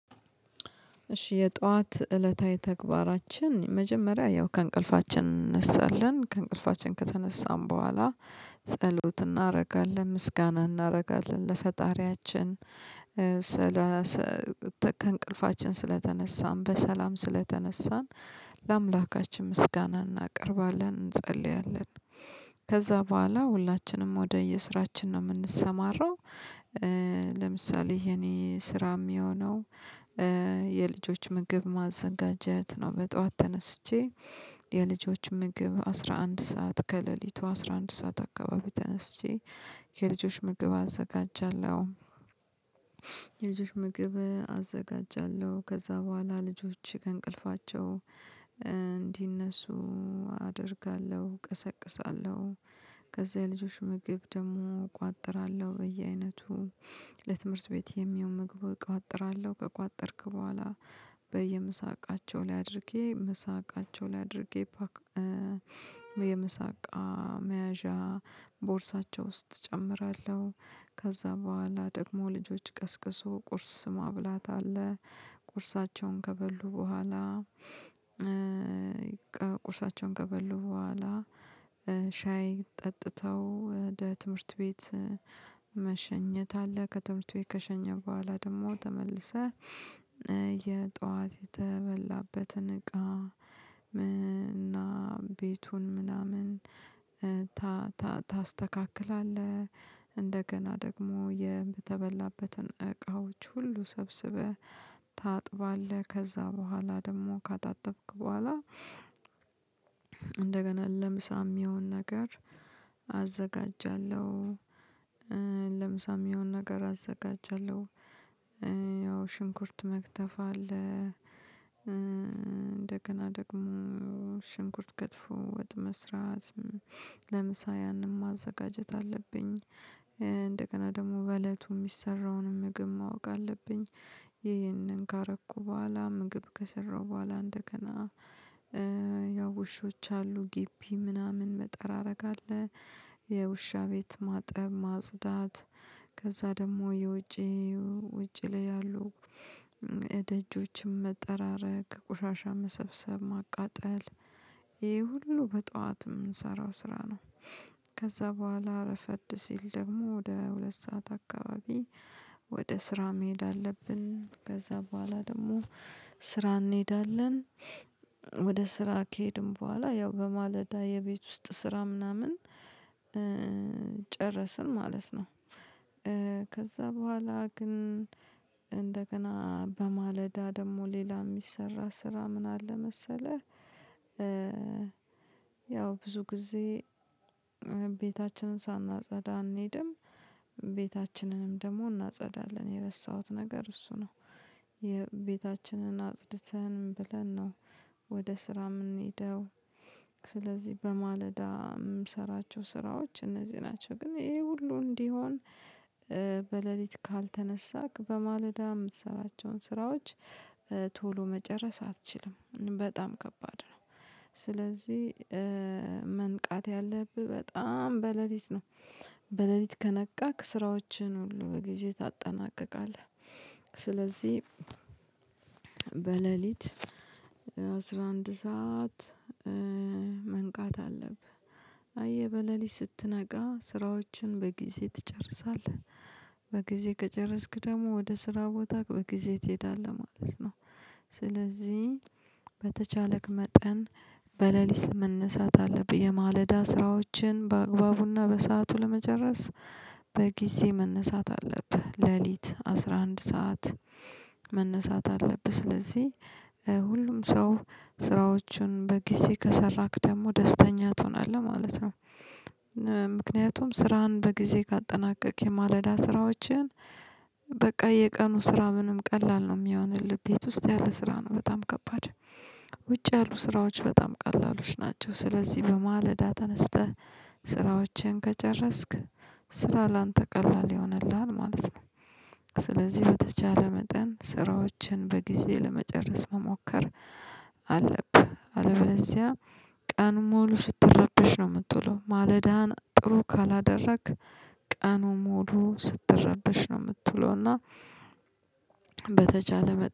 እሺ የጧት እለታዊ ተግባራችን መጀመሪያ ያው ከእንቅልፋችን እንነሳለን ከእንቅልፋችን ከተነሳን በኋላ ጸሎት እናደርጋለን ምስጋና እናደርጋለን ለፈጣሪያችን። ስላ ከእንቅልፋችን ስለተነሳን በሰላም ስለተነሳን ለአምላካችን ምስጋና እናቀርባለን እንጸልያለን። ከዛ በኋላ ሁላችንም ወደየስራችን ነው የምንሰማራው። ለምሳሌ የእኔ ስራ የሚሆነው የልጆች ምግብ ማዘጋጀት ነው። በጧት ተነስቼ የልጆች ምግብ አስራ አንድ ሰዓት ከሌሊቱ አስራ አንድ ሰዓት አካባቢ ተነስቼ የልጆች ምግብ አዘጋጃለሁ። የልጆች ምግብ አዘጋጃለሁ ከዛ በኋላ ልጆች ከእንቅልፋቸው እንዲነሱ አደርጋለሁ ቀሰቅሳለሁ። ከዛ የልጆች ምግብ ደግሞ እቋጥራለሁ በየአይነቱ ለትምህርት ቤት የሚሆን ምግብ እቋጥራለሁ ከቋጠርክ በኋላ በየምሳቃቸው ላይ አድርጌ ምሳቃቸው ላይ አድርጌ ፖክ የምሳቃ መያዣ ቦርሳቸው ውስጥ እጨምራለሁ። ከዛ በኋላ ደግሞ ልጆች ቀስቅሶ ቁርስ ማብላት አለ። ቁርሳቸውን ከበሉ በኋላ ቁርሳቸውን ከበሉ በኋላ ሻይ ጠጥተው ወደ ትምህርት ቤት መሸኘት አለ። ከትምህርት ቤት ከሸኘህ በኋላ ደግሞ ተመልሰህ የጧት የተበላበትን እቃ እና ቤቱን ምናምን ታስተካክላለህ። እንደገና ደግሞ የተበላበትን እቃዎች ሁሉ ሰብስበህ ታጥባለህ። ከዛ በኋላ ደግሞ ካጣጠብክ በኋላ እንደገና ለምሳም የሚሆን ነገር አዘጋጃለሁ። ለምሳ የሚሆነ ነገር አዘጋጃለሁ ያው ሽንኩርት መክተፍ አለ። እንደገና ደግሞ ሽንኩርት ከትፎ ወጥ መስራት ለምሳ ያንን ማዘጋጀት አለብኝ። እንደገና ደግሞ በእለቱ የሚሰራውን ምግብ ማወቅ አለብኝ። ይህንን ካረኩ በኋላ ምግብ ከሰራሁ በኋላ እንደገና ውሾች አሉ ግቢ ምናምን መጠራረግ አለ። የውሻ ቤት ማጠብ ማጽዳት ከዛ ደግሞ የውጪ ውጪ ላይ ያሉ እደጆችን መጠራረግ ቆሻሻ መሰብሰብ ማቃጠል ይሄ ሁሉ በጧት የምንሰራው ስራ ነው። ከዛ በኋላ እረፈድ ሲል ደግሞ ወደ ሁለት ሰዓት አካባቢ ወደ ስራ መሄድ አለብን ከዛ በኋላ ደግሞ ስራ እንሄዳለን። ወደ ስራ ከሄድን በኋላ ያው በማለዳ የቤት ውስጥ ስራ ምናምን ጨረስን ማለት ነው። ከዛ በኋላ ግን እንደገና በማለዳ ደግሞ ሌላ የሚሰራ ስራ ምን አለ መሰለህ ያው ብዙ ጊዜ ቤታችንን ሳናጸዳ አንሄድም። ቤታችንንም ደግሞ እናጸዳለን የረሳሁት ነገር እሱ ነው። ቤታችንን አጽድተን ምን ብለን ነው ወደ ስራ የምንሄደው? ስለዚህ በማለዳ ምሰራቸው ስራዎች እነዚህ ናቸው። ግን ይሄ ሁሉ እንዲሆን በሌሊት ካልተነሳክ በማለዳ የምትሰራቸውን ስራዎች መጨረስ አትችልም። በጣም ከባድ ነው። ስለዚህ መንቃት ያለብህ በጣም በለሊት ነው። በለሊት ከነቃክ ስራዎችህን ሁሉ በጊዜ ታጠናቅቃለህ። ስለዚህ በለሊት አስራ አንድ ሰዓት መንቃት አለብህ። አየህ በለሊት ስትነቃ ስራዎችን በጊዜ ትጨርሳለህ። በጊዜ ከጨረስክ ደግሞ ወደ ስራ ቦታ በጊዜ ትሄዳለህ ማለት ነው። ስለዚህ በተቻለ መጠን በሌሊት መነሳት አለብህ። የማለዳ ስራዎችን በአግባቡና በሰአቱ ለመጨረስ በጊዜ መነሳት አለብህ ሌሊት አስራ አንድ ሰዓት መነሳት አለብህ። ስለዚህ ሁሉም ሰው ስራዎቹን በጊዜ ከሰራክ ደግሞ ደስተኛ ትሆናለህ ማለት ነው። ምክንያቱም ስራህን በጊዜ ካጠናቀቅክ የማለዳ ስራዎችህን በቃ የቀኑ ስራ ምንም ቀላል ነው የሚሆንልህ ቤት ውስጥ ያለ ስራ ነው በጣም ከባድ ውጭ ያሉ ስራዎች በጣም ቀላሉች ናቸው። ስለዚህ በማለዳ ተነስተህ ስራዎችህን ከጨረስክ ስራ ላንተ ቀላል ይሆንልሃል ማለት ነው። ስለዚህ በተቻለ መጠን ስራዎችን በጊዜ ለመጨረስ መሞከር አለብህ። ቀኑን ሙሉ ስትረበሽ ነው የምትውለው። ማለዳህን ጥሩ ካላደረግክ ቀኑን ሙሉ ስትረበሽ ነው የምትለውና በተቻለ